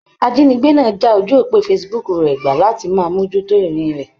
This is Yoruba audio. Ajínigbé náà ti já ojú òpó Facebook rẹ̀ gbà láti máa mójú tó ìrìn rẹ̀.